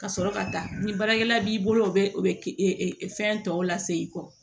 Ka sɔrɔ ka taa ni baarakɛla b'i bolo o bɛ o bɛ e e fɛn tɔw lase i kɔ